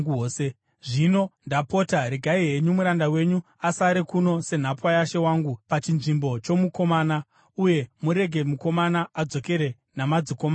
“Zvino, ndapota, regai henyu muranda wenyu asare kuno senhapwa yashe wangu pachinzvimbo chomukomana, uye murege mukomana adzokere namadzikoma ake.